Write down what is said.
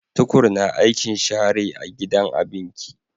tukur na aikin shara a gidan abinki